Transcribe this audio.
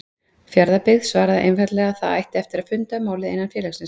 Fjarðabyggð svaraði einfaldlega að það ætti eftir að funda um málið innan félagsins.